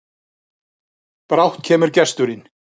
Brátt kemur gesturinn,